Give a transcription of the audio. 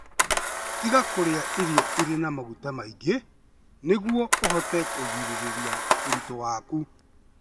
Tiga kũrĩa irio irĩ na maguta maingĩ nĩguo ũhote kũgirĩrĩria ũritũ waku.